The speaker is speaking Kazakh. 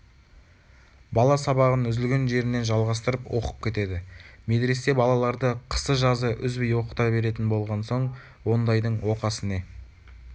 бала сабағын үзілген жерінен жалғастырып оқып кетеді медресе балаларды қысы-жазы үзбей оқыта беретін болған соң ондайдың оқасы не